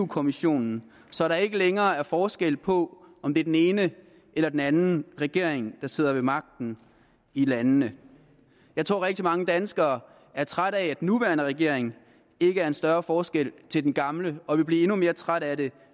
kommissionen så der ikke længere er forskel på om det er den ene eller den anden regering der sidder ved magten i landene jeg tror at rigtig mange danskere er trætte af at den nuværende regering ikke gør en større forskel til den gamle og de vil blive endnu mere trætte af det